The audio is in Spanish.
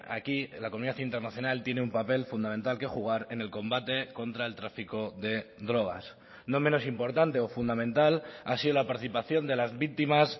aquí la comunidad internacional tiene un papel fundamental que jugar en el combate contra el tráfico de drogas no menos importante o fundamental ha sido la participación de las víctimas